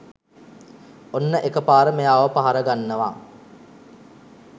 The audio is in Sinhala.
ඔන්න එකපාර මෙයාව පහර ගන්නවා